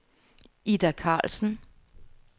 Ida Karlsen